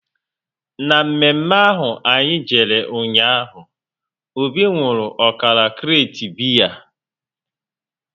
Na mme mme ahụ anyị jere ụnyaahụ, Obi nwụrụ ọkara krate biya